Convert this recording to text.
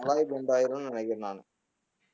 alloy bend ஆயிடும் ஆயிருன்னு நெனைக்குறேன் நானு